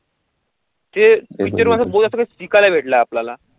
ते बोल असले तरी शिकायला भेटलं आपल्याला